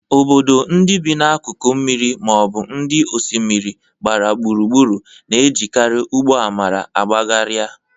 Obodo ndị bi n'akụkụ mmiri ma ọ bụ ndị osimiri gbara gburugburu na-ejekarị ụgbọ amara agbagharịa.